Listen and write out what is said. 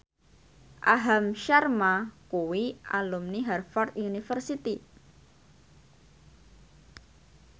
Aham Sharma kuwi alumni Harvard university